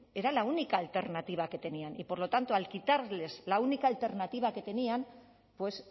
era la única alternativa que tenían y por lo tanto al quitarles la única alternativa que tenían pues